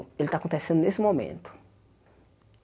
Ele está acontecendo nesse momento.